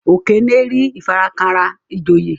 Okene rí ifarakanra ijoye.